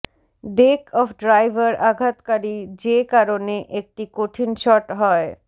day of driver আঘাতকারী যে কারণে একটি কঠিন শট হয়